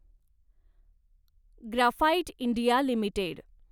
graphite India limited